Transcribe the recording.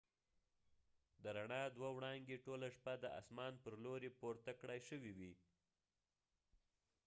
د ر ڼا دوه وړانګې ټوله شپه د آسمان پر لوری پورته کړای شوي وي